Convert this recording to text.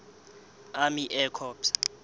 army air corps